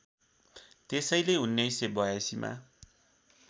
त्यसैले १९८२ मा